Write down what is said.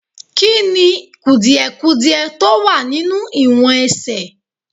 Kí ni kùdìdudiẹ tó wà nínú ìwọ̀n ẹsẹ̀?